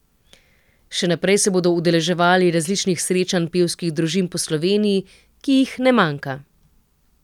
Še naprej se bodo udeleževali različnih srečanj pevskih družin po Sloveniji, ki jih ne manjka.